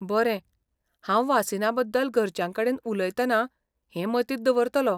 बरें, हांव वासीना बद्दल घरच्यांकडेन उलयतना हें मतींत दवरतलों .